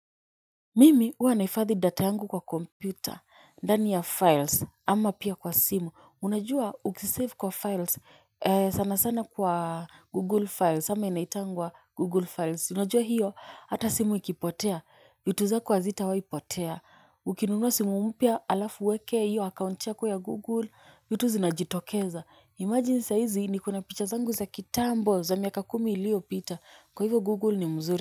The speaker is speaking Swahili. Mimi huwa naifadhi data yangu kwa kompyuta, ndani ya files, ama pia kwa simu, unajua ukisave kwa files, sana sana kwa google files, ama inaitangwa google files, unajua hiyo, hata simu ikipotea, vitu zako hazitawaipotea, ukinunua simu mpia alafu uweke hiyo, akaunti yako ya google, vitu zinajitokeza, imagine saa hizi ni kona picha zangu za kitambo za miaka kumi ilio pita, kwa hivo google ni mzuri.